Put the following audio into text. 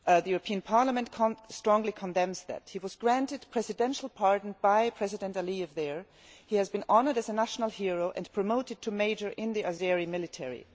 The European Parliament strongly condemns that. He was granted a presidential pardon by President Aleyev there, and he has been honoured as a national hero and promoted to major in the Azeri military.